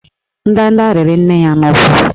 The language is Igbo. Ndanda rịrị nne ya n'ụkwụ